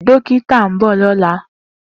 Dokita n bọ lọla.